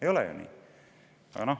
Ei ole ju nii?